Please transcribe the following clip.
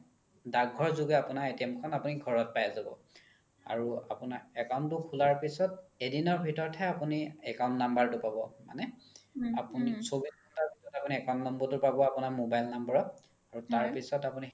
দাগ ঘৰ যোগে আপোনি আপোনাৰ খন ঘৰত পাই যাব আৰু আপোনাৰ account তো খুলাৰ পিছত এদিনৰ ভিতৰত হে আপোনি account number তো পাব মানে আপোনি account number তো পাব আপোনাৰ mobile number ত আৰু তাৰ পিছত আপোনি